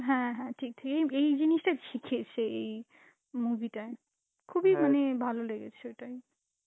হ্যাঁ হ্যাঁ ঠিক, এই~ এই জিনিসটা শিখিয়েছে এই movie টায়, খুবই মানে ভালো লেগেছে তাই.